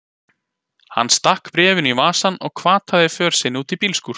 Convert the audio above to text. Hann stakk bréfinu í vasann og hvataði för sinni út í bílskúr.